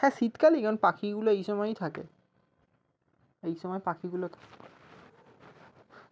হ্যাঁ শীতকালই কারন পাখিগুলো এই সময়েই থাকে এইসময় পাখিগুলো থাকে